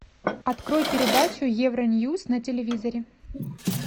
открой передачу евроньюс на телевизоре